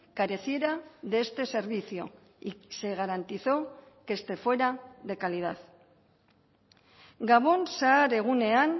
careciera de este servicio y se garantizó que este fuera de calidad gabon zahar egunean